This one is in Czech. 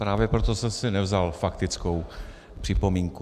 Právě proto jsem si nevzal faktickou připomínku.